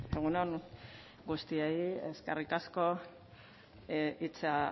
egun on guztioi eskerrik asko hitza